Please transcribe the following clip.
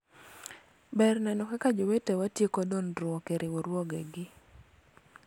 ber neno kaka jowetewa tieko dondruok e riwruoge gi